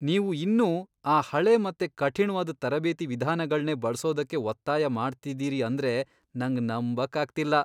ನೀವು ಇನ್ನೂ ಆ ಹಳೆ ಮತ್ತೆ ಕಠಿಣ್ವಾದ್ ತರಬೇತಿ ವಿಧಾನಗಳ್ನೇ ಬಳ್ಸೋದಕ್ಕೆ ಒತ್ತಾಯ ಮಾಡ್ತಿದೀರಿ ಅಂದ್ರೆ ನಂಗ್ ನಂಬಕ್ಕಾಗ್ತಿಲ್ಲ!